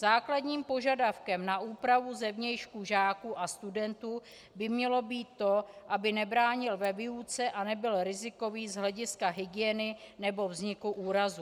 Základním požadavkem na úpravu zevnějšku žáků a studentů by mělo být to, aby nebránila ve výuce a nebyla riziková z hlediska hygieny nebo vzniku úrazu.